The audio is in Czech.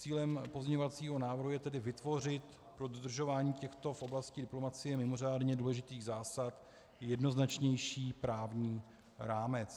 Cílem pozměňovacího návrhu je tedy vytvořit pro dodržování těchto v oblasti diplomacie mimořádně důležitých zásad jednoznačnější právní rámec.